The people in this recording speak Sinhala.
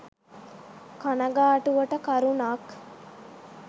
කනගාටුවට කරුණක්.